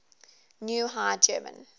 new high german